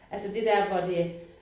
Altså det der hvor det